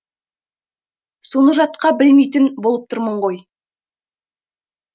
соны жатқа білмейтін болып тұрмын ғой